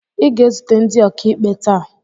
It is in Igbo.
ị ga-ezute ndị okaikpe tàà